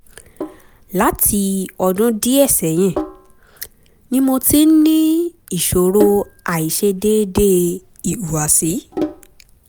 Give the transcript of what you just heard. láti ọdún díẹ̀ sẹ́yìn ni mo ti ń ní ìṣòro àìṣedéédé ìhùwàsí